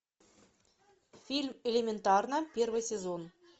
фильм элементарно первый сезон